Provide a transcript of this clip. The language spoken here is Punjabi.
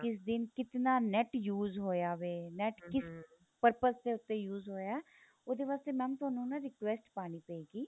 ਕਿਸ ਦਿਨ ਕਿਤਨਾ NET use ਹੋਇਆ ਵੇ NET ਕਿਸ purpose ਦੇ ਉੱਤੇ use ਹੋਇਆ ਉਹਦੇ ਵਾਸਤੇ mam ਤੁਹਾਨੂੰ ਨਾ request ਪਾਣੀ ਪਏਗੀ